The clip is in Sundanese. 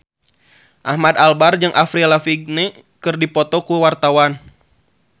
Ahmad Albar jeung Avril Lavigne keur dipoto ku wartawan